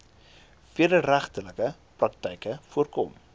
wederregtelike praktyke voorkom